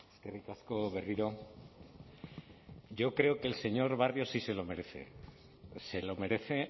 eskerrik asko berriro yo creo que el señor barrio sí se lo merece se lo merece